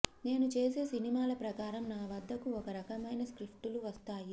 నేను చేసే సినిమాల ప్రకారం నా వద్దకు ఒక రకమైన స్క్రిప్టులు వస్తాయి